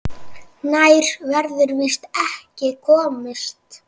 Nær verður víst ekki komist.